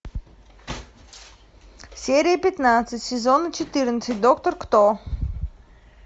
серия пятнадцать сезона четырнадцать доктор кто